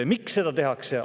Miks seda tehakse?